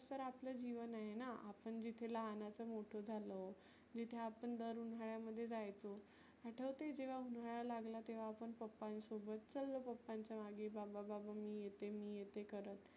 तर आपलं जिवन आहेना. आपण जिथे लहानाचं मोठ झालो, जिथे आपण दर उन्हाळ्यामध्ये जायचो आठवतय जेव्हा उन्हाळा लागला तेव्हा आपण papa नं सोबत चल्लो papa च्या मागे बाबा बाबा मी येते मी येते करत.